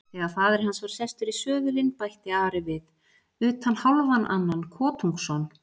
Þegar faðir hans var sestur í söðulinn bætti Ari við:-Utan hálfan annan kotungsson.